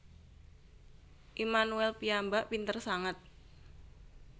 Immanuel piyambak pinter sanget